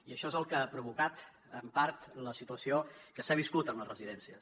i això és el que ha provocat en part la situació que s’ha viscut en les residències